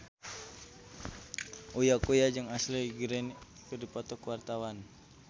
Uya Kuya jeung Ashley Greene keur dipoto ku wartawan